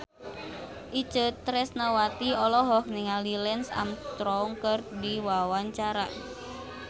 Itje Tresnawati olohok ningali Lance Armstrong keur diwawancara